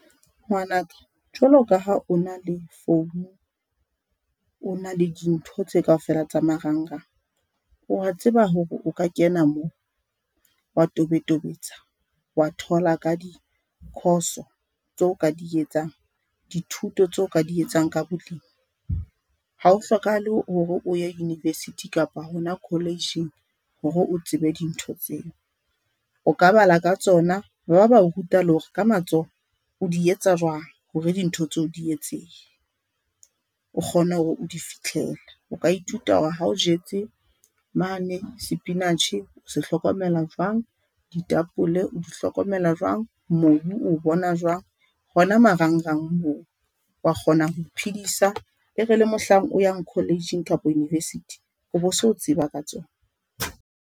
Ngwana ka jwalo ka ha o na le phone, o na le dintho tse kaofela tsa marangrang, wa tseba hore o ka kena mo wa tobetobetsa wa thola ka dikhoso tseo ka di etsang dithuto tseo ka di etsang ka bolemi. Hao hlokahale hore o ye university kapa hona college-eng hore o tsebe dintho tseo. O ka bala ka tsona. Ba ba ruta le hore ka matsoho o di etsa jwang hore dintho tseo di etsehe o kgone hore o di fihlele. O ka ithuta hore ha o jetse mane spinach o se hlokomela jwang, ditapole o di hlokomela jwang. Mobu oo bona jwang hona marangrang moo wa kgona ho iphidisa e re le mohlang o yang college-eng kapa university hore o bo se o tseba ka tsona.